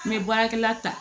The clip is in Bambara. N bɛ baarakɛla ta